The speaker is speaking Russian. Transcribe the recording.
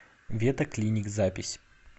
вета клиник запись